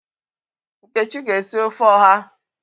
Nkechi ga esi ofe oha.